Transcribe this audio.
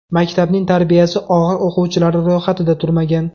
Maktabning tarbiyasi og‘ir o‘quvchilari ro‘yxatida turmagan.